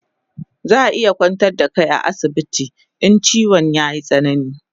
Zaa iya kwantar da kai a asibiti in chiwon yayi tsanani